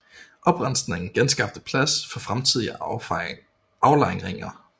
Oprensningen genskabte plads for fremtidige aflejringer